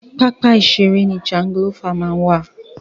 Pápá ìṣère ni jangilófà máa ń wà.